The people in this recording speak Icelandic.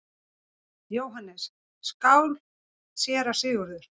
JÓHANNES: Skál, séra Sigurður!